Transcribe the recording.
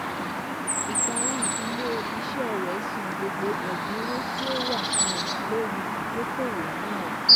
um ÌPARÍ Ilé-Iṣẹ́ rẹ san gbogbo ẹ̀dinwo ti o wa um lori idokowo nàá.